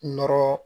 Nɔrɔ